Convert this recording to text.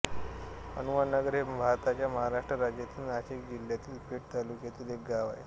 हनुमाननगर हे भारताच्या महाराष्ट्र राज्यातील नाशिक जिल्ह्यातील पेठ तालुक्यातील एक गाव आहे